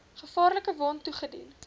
gevaarlike wond toegedien